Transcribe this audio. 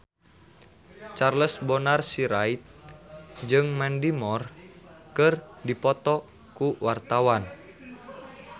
Charles Bonar Sirait jeung Mandy Moore keur dipoto ku wartawan